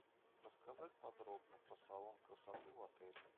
рассказать подробно про салон красоты в отеле